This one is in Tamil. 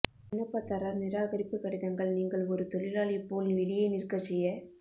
விண்ணப்பதாரர் நிராகரிப்பு கடிதங்கள் நீங்கள் ஒரு தொழிலாளி போல் வெளியே நிற்க செய்ய